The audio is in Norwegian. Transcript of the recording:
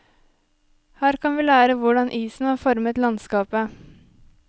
Her kan vi lære hvordan isen har formet landskapet.